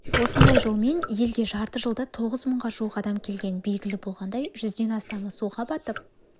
осындай жолмен елге жарты жылда тоғыз мыңға жуық адам келген белгілі болғандай жүзден астамы суға батып